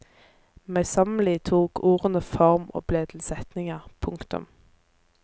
Møysommelig tok ordene form og ble til setninger. punktum